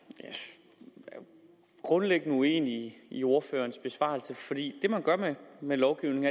jeg er grundlæggende uenig i ordførerens besvarelse for det man gør med lovgivningen